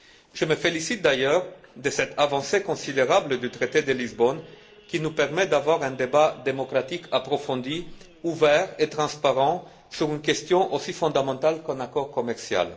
Je me félicite d'ailleurs de cette avancée considérable du traité de Lisbonne, qui nous permet de tenir un débat démocratique approfondi, ouvert et transparent sur une question aussi fondamentale qu'un accord commercial.